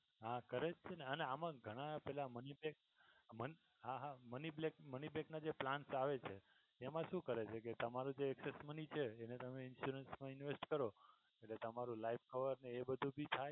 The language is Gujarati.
હા કરે જ છે ને અને આમાં ઘણા પેલા money black પણ હા હા money black money black ના જે plant આવે છે એમા શું કરે છે કે તમારું જે excess money છે જેને તમે insurance મા invest કરો એટલે તમારું lifecover ને એ બધુ ભી થાય.